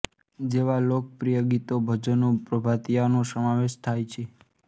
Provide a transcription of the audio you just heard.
જેવા લોકપ્રીય ગીતો ભજનો પ્રભાતિયાનો સમાવેશ થાય છે